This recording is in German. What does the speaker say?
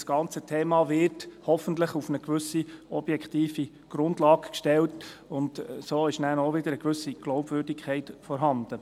Das ganze Thema wird hoffentlich auf eine gewisse objektive Grundlage gestellt, und so ist nachher auch wieder eine gewisse Glaubwürdigkeit vorhanden.